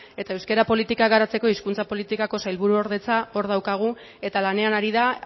eta euskara politika garatzeko hizkuntza politikako sailburuordetza hor daukagu eta lanean ari da